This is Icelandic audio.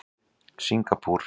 Singapúr